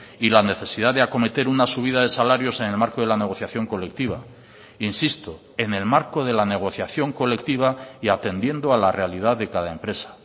y la necesidad de acometer una subida de salarios en el marco de la negociación colectiva insisto en el marco de la negociación colectiva y atendiendo a la realidad de cada empresa